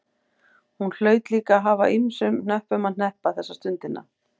Hún hlaut líka að hafa ýmsum hnöppum að hneppa þessa stundina.